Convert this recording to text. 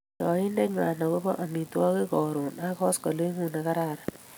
Yoindeenywai agobo amitwogikab Karon ak koskolingut nekararan